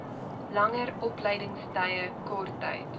langer opleidingstye korttyd